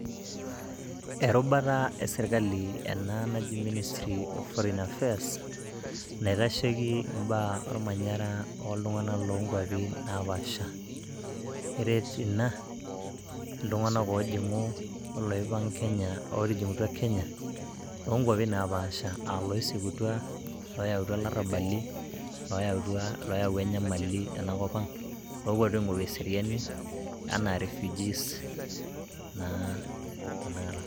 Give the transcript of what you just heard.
Erubata esirkali ena naji ministry of foreign affairs, naitasheiki imbaa olmanyara oltung'anak loo nkwapi napaasha, eret ina iltung'anak oojing'u, oloipang'a Kenya ootijing'utua Kenya, loo nkuapi napaaasha, aa loisikutua, lootimirua larrabali, looyawua enyamali ena kop ang', iloopuonu aing'oru eseriani anaa refugees tena kata.